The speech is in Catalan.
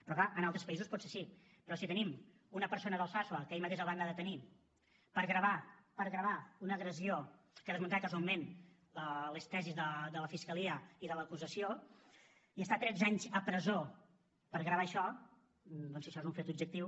però clar en altres països potser sí però si tenim una persona d’alsasua que ahir mateix el van anar a detenir per gravar per gravar una agressió que desmuntava casualment les tesis de la fiscalia i de l’acusació i haurà d’estar tretze anys a presó per gravar això doncs si això és un fet objectiu